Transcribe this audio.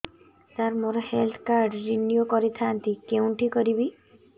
ସାର ମୋର health card renew କରିଥାନ୍ତି କେଉଁଠି କରିବି